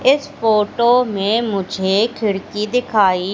इस फोटो में मुझे खिड़की दिखाई --